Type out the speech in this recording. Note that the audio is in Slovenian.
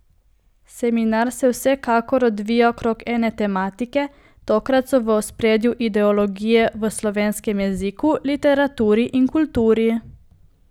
Seminar se vsakokrat ovija okrog ene tematike, tokrat so v ospredju Ideologije v slovenskem jeziku, literaturi in kulturi.